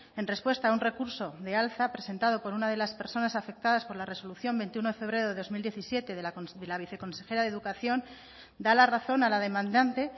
en respuesta a un recurso de alza presentado por una de las personas afectadas por la resolución veintiuno de febrero del dos mil diecisiete de la viceconsejera de educación da la razón a la demandante